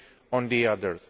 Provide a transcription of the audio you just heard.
on the other.